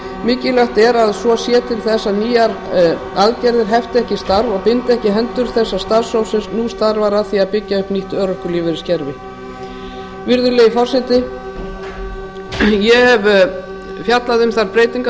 mikilvægt er að svo sé til þess að nýjar aðgerðir hefti ekki starf og bindi ekki hendur þess starfshóps sem nú starfar að því að byggja upp nýtt örorkulífeyriskerfi virðulegi forseti ég hef fjallað um þær breytingar